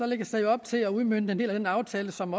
lægges der jo op til at udmønte en del af den aftale som